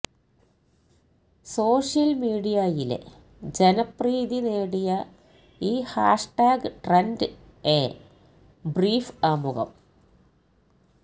social മീഡിയയിലെ ജനപ്രീതിനേടിയ ഈ ഹാഷ്ടാഗ് ട്രെൻഡ് എ ബ്രീഫ് ആമുഖം